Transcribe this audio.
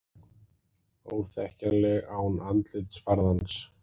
Óþekkjanleg án andlitsfarðans